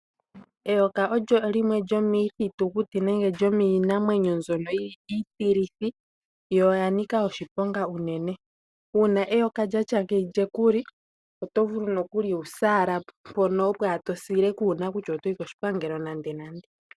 Eyoka olyo limwe lyomiithitu kuti nenge lyomiinamwenyo mbyoka yili iitilithi yo oyanika oshiponga unene. Uuna eyoka lyatya ngeyi lyekuli oto vulu nokuli wu se ala mpoka opo to sile kuuna kutya otoyi peni otoyi koshipangelo nande nande .